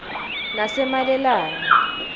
nasemalelane